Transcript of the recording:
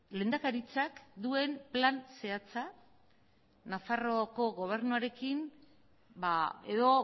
lehendakaritzak duen plan zehatza nafarroako gobernuarekin edo